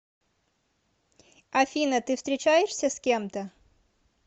афина ты встречаешься с кем то